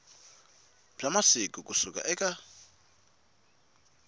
wa masiku ku suka eka